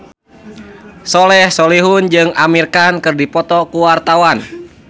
Soleh Solihun jeung Amir Khan keur dipoto ku wartawan